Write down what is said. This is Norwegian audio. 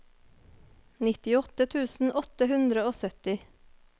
nittiåtte tusen åtte hundre og sytti